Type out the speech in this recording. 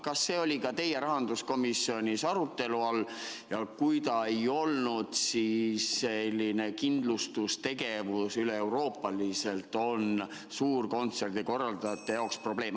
Kas see oli ka teil rahanduskomisjonis arutelu all ja kui ei olnud, siis, et selline kindlustustegevus üleeuroopaliselt on suurte kontsertide korraldajate jaoks probleem.